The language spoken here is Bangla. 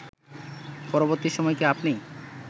পরবর্তী সময় কি আপনি